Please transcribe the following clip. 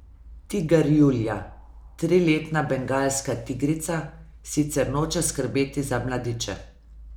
Tigrjulija, triletna bengalska tigrica, sicer noče skrbeti za mladiče.